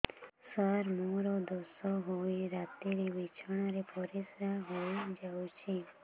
ସାର ମୋର ଦୋଷ ହୋଇ ରାତିରେ ବିଛଣାରେ ପରିସ୍ରା ହୋଇ ଯାଉଛି